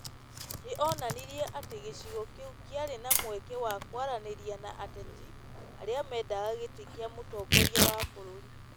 Nĩ onanirie atĩ gĩcigo kĩu kĩarĩ na mweke wa kwaranĩria na ateti arĩa mendaga gĩtĩ kĩa mũtongoria wa bũrũri.